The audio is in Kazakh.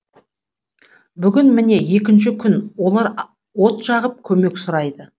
бүгін міне екінші күн олар от жағып көмек сұрайды